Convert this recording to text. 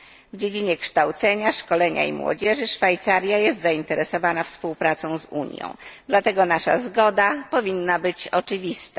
W dziedzinie kształcenia, szkolenia i młodzieży Szwajcaria jest zainteresowana współpracą z Unią, dlatego nasza zgoda powinna być oczywista.